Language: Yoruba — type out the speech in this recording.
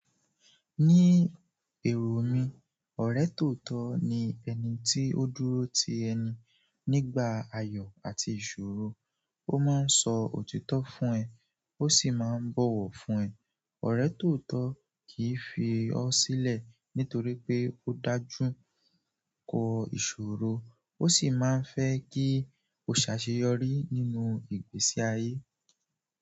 Ní ẹ̀rù mi, ọ̀rẹ́ tòótọ́ ni ẹni tí ó dúró ti ẹni nígbà ayọ̀ àti ìṣòro, ó máa ń sọ òtítọ́ fún ẹ, ó sì máa ń bọ̀wọ̀ fún ẹ. Ọ̀rẹ́ tootọ kì í fi ọ́ sílẹ̀ nítorí pé ó dájú kọ ìṣòro, ó sì máa ń fẹ́ kí o ṣàṣeyọrí nínú ìgbésí ayé.